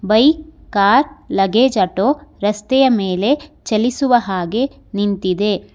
Bike car luggage auto ರಸ್ತೆಯ ಮೇಲೆ ಚಲಿಸುವ ಹಾಗೆ ನಿಂತಿದೆ.